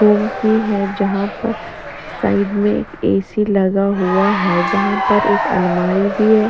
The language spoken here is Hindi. रूम भी है जहाँ पर साइड में एक ए_सी लगा हुआ है जहाँ पर एक अलमारी भी है।